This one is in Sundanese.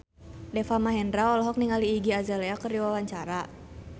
Deva Mahendra olohok ningali Iggy Azalea keur diwawancara